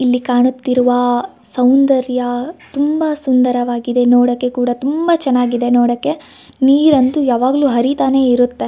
ಇಲ್ಲಿ ಕಾಣುತ್ತಿರುವ ಸೌಂದರ್ಯ ತುಂಬಾ ಸುಂದರವಾಗಿದೆ ನೋಡಕೆ ಕೂಡ ತುಂಬಾ ಚನ್ನಾಗಿದೆ ನೋಡಕೆ ನೀರ್ ಅಂತು ಯಾವಾಗ್ಲು ಹರೀತಾ ಇರುತ್ತೆ.